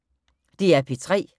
DR P3